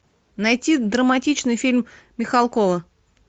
найти драматичный фильм михалкова